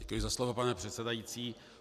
Děkuji za slovo, pane předsedající.